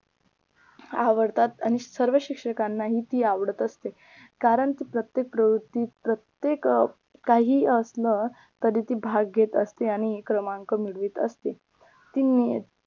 आवडतात आणि सर्व शिक्षकांना ही ती आवडत असते कारण प्रत्येक प्रवृत्ती प्रत्येक अं काही असलं कधी ती भाग घेत असते आणि क्रमांक मिळवीत असते ती